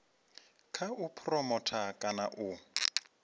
kha u phuromotha kana u